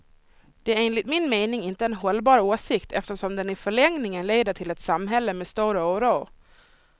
Det är enligt min mening inte en hållbar åsikt, eftersom den i förlängningen leder till ett samhälle med stor oro.